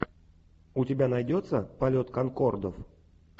у тебя найдется полет конкордов